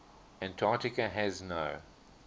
antarctica has no